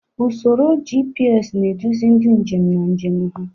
Usoro GPS na-eduzi ndị njem na njem ha.